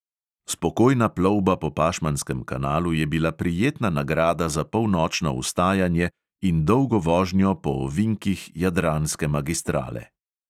Spokojna plovba po pašmanskem kanalu je bila prijetna nagrada za polnočno vstajanje in dolgo vožnjo po ovinkih jadranske magistrale.